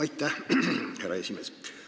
Aitäh, härra esimees!